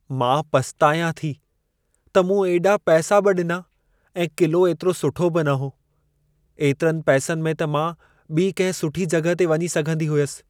मां पछ्तायां थी त मूं एॾा पैसा बि ॾिना ऐं क़िलो एतिरो सुठो बि न हो। एतिरनि पैसनि में त मां ॿी कंहिं सुठी जॻह ते वञी सघंदी हुयसि।